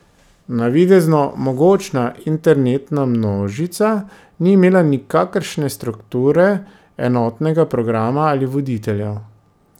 Navidezno mogočna internetna množica ni imela nikakršne strukture, enotnega programa ali voditeljev.